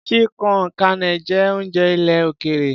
Chili con carne jẹ́ oúnjẹ ilẹ̀ òkèèrè.